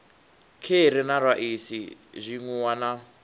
kheri na raisi zwinwiwa na